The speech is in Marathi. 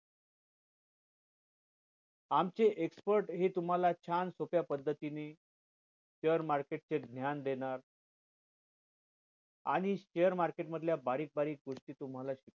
आमचे expert हे तुम्हाला छान सोप्या पद्धतीने share market चे ज्ञान देणार आणि share market मधल्या बारीक सारीक गोष्टी तुम्हाला